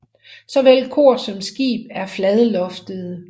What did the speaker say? Såvel kor som skib er fladloftede